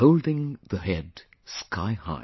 holding the head sky high